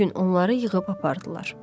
Bu gün onları yığıb apardılar.